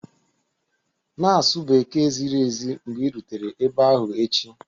Na-asụ Bekee ziri ezi mgbe ị rutere ebe ahụ echi